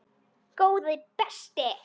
Góði besti!